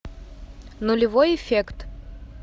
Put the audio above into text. нулевой эффект